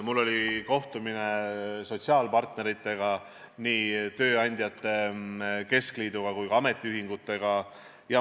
Mul oli kohtumine sotsiaalpartneritega, nii tööandjate keskliiduga kui ka ametiühingutega.